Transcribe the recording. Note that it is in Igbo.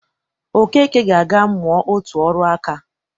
Okeke ga-aga mụa otu ọrụ nka